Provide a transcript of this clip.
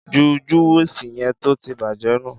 Jú júwùsí yen tótì bàjẹ nú!